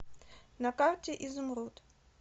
на карте изумруд